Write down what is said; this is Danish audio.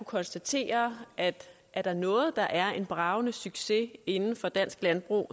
konstatere at er der noget der er en bragende succes inden for dansk landbrug